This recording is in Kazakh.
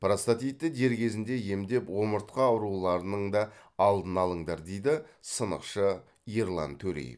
простатитті дер кезінде емдеп омыртқа ауруларының да алдын алыңдар дейді сынықшы ерлан төреев